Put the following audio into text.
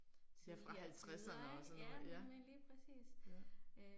Ja fra halvtredserne og sådan noget ja, ja